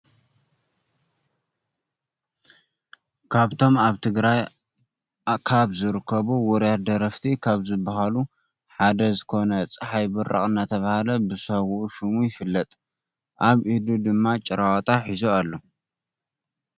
ካብቶም ኣብ ትግራይ ካብ ዝርከቡ ውርያት ደረፍቲ ካብ ዝብሃሉ ሓደ ዝኮነ ፅሓይ ብራቅ እናተባህለ ብሳውኡ ሹም ይፍለጥ። ኣብ ኢዱ ድማ ጭራዋጣ ሒዚ ኣሎ።